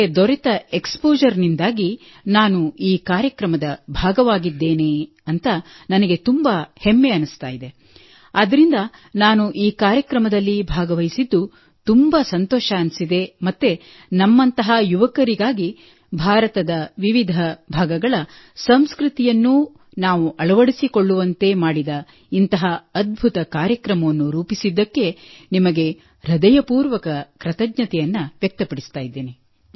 ನನಗೆ ದೊರೆತ ಎಕ್ಸ್ಪೋಷರ್ ನಿಂದಾಗಿ ನಾನು ಈ ಕಾರ್ಯಕ್ರಮದ ಭಾಗವಾಗಿದ್ದೇನೆ ಎಂದು ನನಗೆ ತುಂಬಾ ಹೆಮ್ಮೆ ಎನಿಸುತ್ತದೆ ಆದ್ದರಿಂದ ನಾನು ಈ ಕಾರ್ಯಕ್ರಮದಲ್ಲಿ ಭಾಗವಹಿಸಿದ್ದು ತುಂಬಾ ಸಂತೋಷವೆನಿಸಿದೆ ಮತ್ತು ನಮ್ಮಂತಹ ಯುವಕರಿಗಾಗಿ ಭಾರತದ ವಿವಿಧ ಭಾಗಗಳ ಸಂಸ್ಕೃತಿಯನ್ನು ನಾವು ಅಳವಡಿಸಿಕೊಳ್ಳುವಂತೆ ಮಾಡಿದ ಇಂತಹ ಅದ್ಭುತ ಕಾರ್ಯಕ್ರಮವನ್ನು ರೂಪಿಸಿದ್ದಕ್ಕೆ ನಿಮಗೆ ಹೃದಯಪೂರ್ವಕ ಕೃತಜ್ಞತೆಯನ್ನು ವ್ಯಕ್ತಪಡಿಸುತ್ತೇನೆ